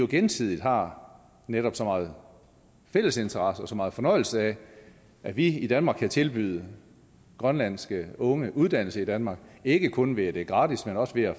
gensidigt har så mange fælles interesser og så meget fornøjelse af at vi i danmark kan tilbyde grønlandske unge uddannelse i danmark ikke kun ved at det er gratis men også ved at